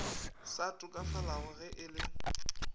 sa tokafalago ge e le